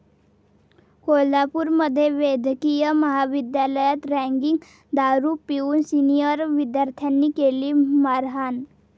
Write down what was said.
कोल्हापूरमध्ये वैद्यकीय महाविद्यालयात रॅगिंग, दारू पिऊन सिनिअर विद्यार्थ्यांनी केली मारहाण